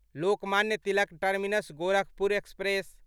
Lokmanya Tilak terminus Gorakhpur express